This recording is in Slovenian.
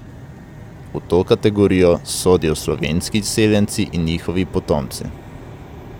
V to kategorijo sodijo slovenski izseljenci in njihovi potomci.